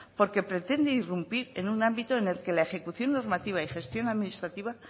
porque pretende irrumpir en un ámbito en el que la ejecución normativa y gestión administrativa